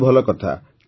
ବହୁତ ଭଲ କଥା